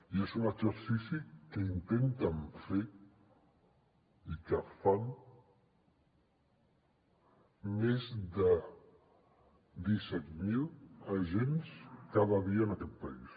i és un exercici que intenten fer i que fan més de disset mil agents cada dia en aquest país